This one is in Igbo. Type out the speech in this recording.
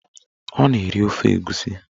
Ọ na-eri ofe egusi